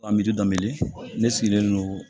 A dɔ miliyɔn ne sigilen don